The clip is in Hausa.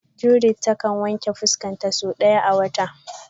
Judith ta kan wanke fuska ta sau daya a wata.